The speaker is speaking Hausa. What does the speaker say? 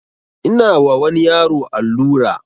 Ina wa wani yaro allura